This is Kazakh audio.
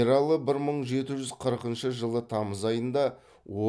ералы бір мың жеті жүз қырқыншы жылы тамыз айында